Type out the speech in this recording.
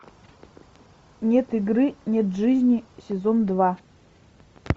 нет игры нет жизни сезон два